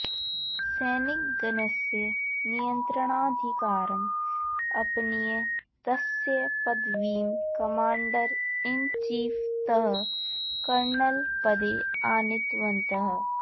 सैनिकगणस्य नियत्रणाधिकारम् अपनीय तस्य पदवीम् कमाण्डर् इन् चीफ् तः कर्नल् पदे आनीतवन्तः